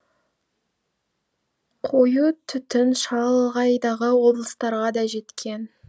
қою түтін шалғайдағы облыстарға да жеткен